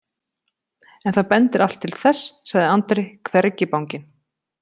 En það bendir allt til þess, sagði Andri hvergi banginn.